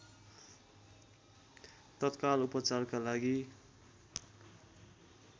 तत्काल उपचारका लागि